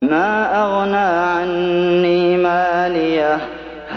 مَا أَغْنَىٰ عَنِّي مَالِيَهْ ۜ